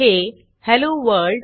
हे hello world